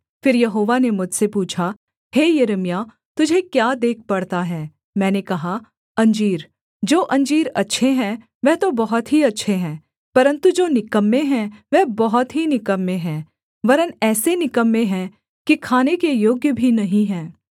फिर यहोवा ने मुझसे पूछा हे यिर्मयाह तुझे क्या देख पड़ता है मैंने कहा अंजीर जो अंजीर अच्छे हैं वह तो बहुत ही अच्छे हैं परन्तु जो निकम्मे हैं वह बहुत ही निकम्मे हैं वरन् ऐसे निकम्मे हैं कि खाने के योग्य भी नहीं हैं